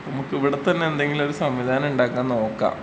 നമുക്ക് ഇവിടെ തന്നെ എന്തെങ്കിലൊരു സംവിധാനം നോക്കാം.